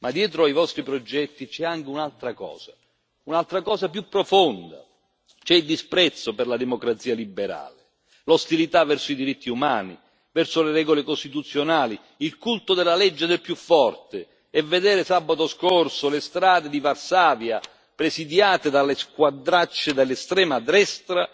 Ma dietro ai vostri progetti c'è anche un'altra cosa, un'altra cosa più profonda. C'è il disprezzo per la democrazia liberale, l'ostilità verso i diritti umani e verso le regole costituzionali, il culto della legge del più forte, e vedere sabato scorso le strade di Varsavia presidiate dalle squadracce dell'estrema destra